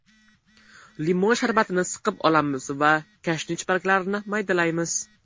Limon sharbatini siqib olamiz, va kashnich barglarini maydalaymiz.